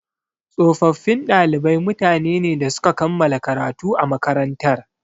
Tsofaffin ɗalibai mutane ne da suka kammala karatu a makarantar.